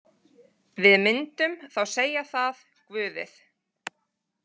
Við myndum þá segja það, Guðið.